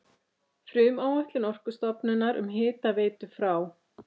Frumáætlun Orkustofnunar um hitaveitu frá